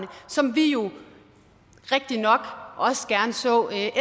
som vi jo rigtig nok også gerne så